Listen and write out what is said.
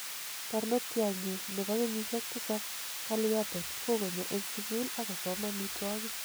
"Barnotyo nyun nebo kenyishek 7 Kaliyappen kokonyo eng sukul akosom omitwo'kik.